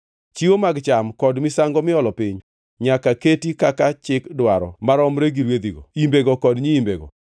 Chiwo mag cham kod misango miolo piny nyaka keti kaka chik dwaro maromre gi rwedhigo, imbego kod nyiimbego.